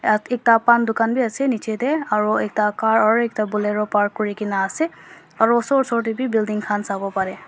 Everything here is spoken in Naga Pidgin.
ah ekta paan dukan bi ase nichetey aro ekta car aro ekta bolero park kurikena ase aro osor osor tey wi building khan sawo pareh.